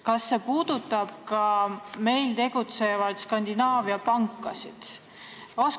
Kas see puudutab ka meil tegutsevaid Skandinaavia pankasid?